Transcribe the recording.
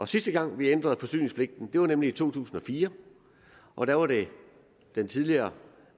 sidste gang vi ændrede forsyningspligten var nemlig i to tusind og fire og der var det den tidligere